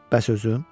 Bəs özüm?